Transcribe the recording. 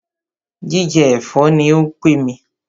Jíjẹ ẹ̀fọ́ ní o pé mí.